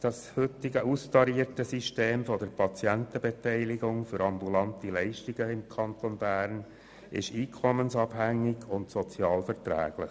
Das heutige austarierte System der Patientenbeteiligung für ambulante Leistungen im Kanton Bern ist einkommensabhängig und sozialverträglich.